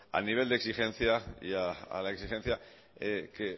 al nivel de exigencia y a la exigencia que